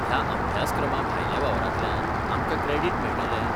ह्या अभ्यासक्रमाभायल्या वावरांतल्यान आमकां क्रॅडिट मेळटले?